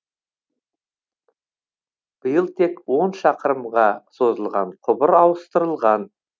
биыл тек он шақырымға созылған құбыр ауыстырылған